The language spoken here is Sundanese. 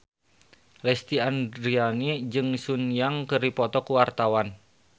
Lesti Andryani jeung Sun Yang keur dipoto ku wartawan